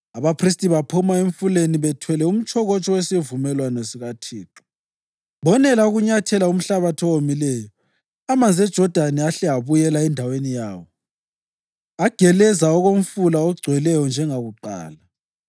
Abaphristi baphuma emfuleni bethwele umtshokotsho wesivumelwano sikaThixo. Bonela ukunyathela umhlabathi owomileyo amanzi eJodani ahle abuyela endaweni yawo, ageleza okomfula ogcweleyo njengakuqala.